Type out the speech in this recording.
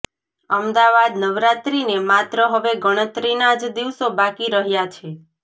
અમદાવાદઃ નવરાત્રીને માત્ર હવે ગણતરીના જ દિવસો બાકી રહ્યા છે